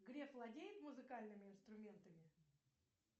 греф владеет музыкальными инструментами